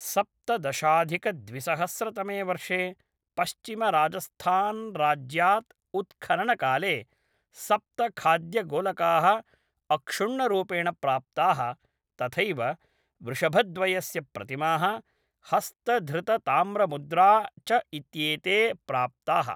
सप्तदशाधिकद्विसहस्रतमे वर्षे पश्चिमराजस्थान्राज्यात् उत्खननकाले सप्तखाद्यगोलकाः अक्षुण्णरूपेण प्राप्ताः, तथैव वृषभद्वयस्य प्रतिमाः, हस्तधृतताम्रमुद्रा च इत्येते प्राप्ताः।